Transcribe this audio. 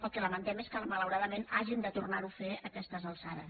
el que lamentem és que malauradament hàgim de tornar ho a fer a aquestes alçades